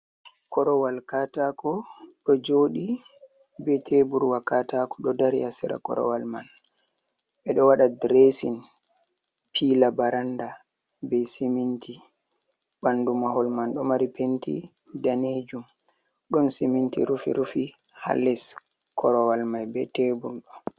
Korowal katako ɗo joɗi be teburwa katako ɗo dari ha sera korowal man. Ɓeɗo waɗa diresin pila baranda be siminti. Ɓandu mahol man do mari penti danejum. Ɗon siminti rufi-rufi hal les korowal mai be tebur ɗo.